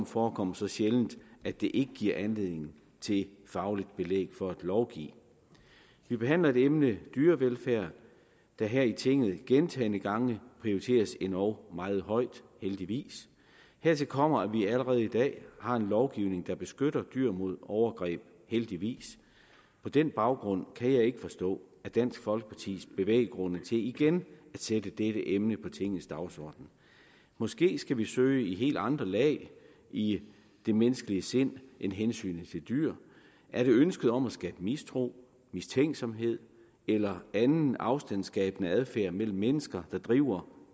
forekommer så sjældent at det ikke giver anledning til fagligt belæg for at lovgive vi behandler et emne dyrevelfærd der her i tinget gentagne gange prioriteres endog meget højt heldigvis hertil kommer at vi allerede i dag har en lovgivning der beskytter dyr mod overgreb heldigvis på den baggrund kan jeg ikke forstå dansk folkepartis bevæggrunde til igen at sætte dette emne på tingets dagsorden måske skal vi søge i helt andre lag i det menneskelige sind end hensynet til dyr er det ønsket om at skabe mistro mistænksomhed eller anden afstandskabende adfærd mellem mennesker der driver